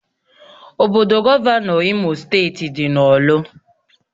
Obodo Gọvanọ Imo steeti dị na ọrlu